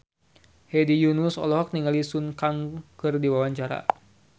Hedi Yunus olohok ningali Sun Kang keur diwawancara